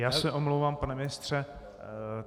Já se omlouvám, pane ministře.